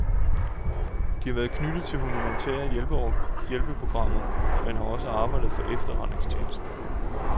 De har været knyttet til humanitære hjælpeprogrammer, men har også arbejdet for efterretningstjenesten.